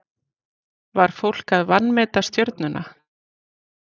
Var fólk að vanmeta Stjörnuna?